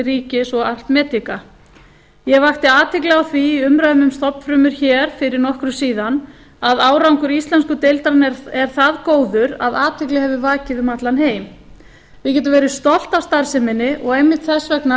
ríkis og art medica ég vakti athygli á því í umræðunni um stofnfrumur hér fyrir nokkru síðan að árangur íslensku deildarinnar er það góður að athygli hefur vakið um allan heim við getum verið stolt af starfseminni og einmitt þess vegna